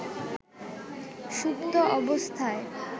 সুপ্ত অবস্থায়